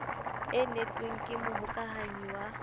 e netwekeng ke mohokahanyi wa